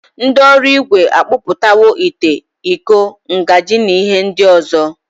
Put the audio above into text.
Ndi oruigwe akpoputawo ite, Iko, njagi na ihe ndi ozo.